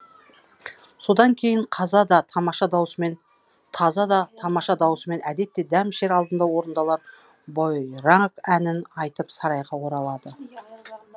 содан кейін таза да тамаша даусымен әдетте дәм ішер алдында орындалар бойраг әнін айтып сарайға оралады